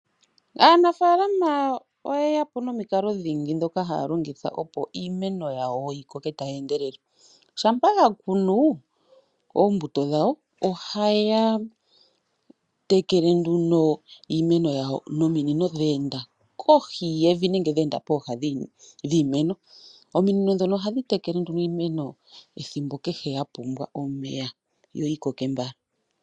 Aanafaalama oye ya po nomikalo dhingi ndhoka haya longitha opo iimeno yawo yi koke tayi endelele. Shampa ya kunu oombuto dhawo ohaya tekele nduno iimeno yawo nominino dha enda kohi yevi nenge dha enda pooha dhiimeno. Ominino ndhono ohadhi tekele nduno iimeno ethimbo kehe ya pumbwa omeya yo yi koke mbala.